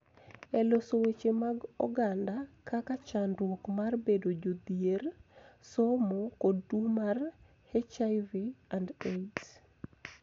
E loso weche mag oganda kaka chandruok mar bedo jodhier, somo, kod tuo mar HIV/AIDS,